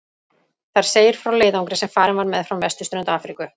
Þar segir frá leiðangri sem farinn var meðfram vesturströnd Afríku.